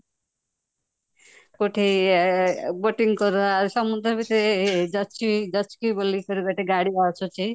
କୋଉଠି boating କର ସମୁଦ୍ର ଭିତରେ ଜଯକି ଜଯକି ବୋଲି ଗୋଟେ ଗାଡି ଅଛି